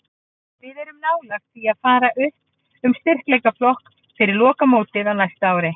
Við erum nálægt því að fara upp um styrkleikaflokk fyrir lokamótið á næsta ári.